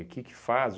O que que faz?